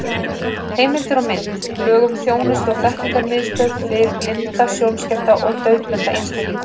Heimildir og mynd: Lög um þjónustu- og þekkingarmiðstöð fyrir blinda, sjónskerta og daufblinda einstaklinga.